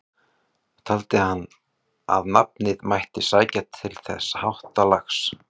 Taldi hann að nafnið mætti sækja til þessa háttalags.